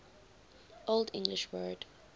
old english word